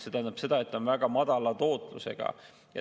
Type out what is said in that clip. See tähendab seda, et ta on väga madala tootlusega.